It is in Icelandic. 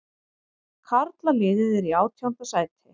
Karlaliðið er í átjánda sæti